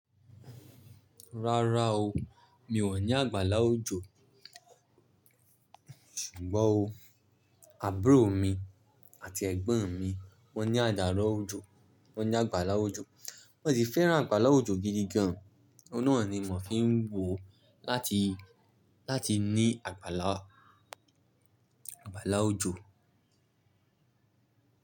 Rárá o, mi ò ní àgbàlá òjò. Ṣùgbọ́n o, àbúrò mi àti ẹ̀gbọ́n mi wọ́n ní àdà rọ̀ òjò, wọ́n ní àgbàlá òjò. Wọ́n sì fẹ́ràn àgbàlá òjò gidi gan. Òún ni wọ́n fi ń wò láti, láti ní àgbàlá, àgbàlá òjò.